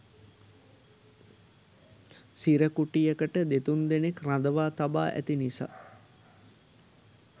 සිර කුටියකට දෙතුන් දෙනෙක් රඳවා තබා ඇති නිසා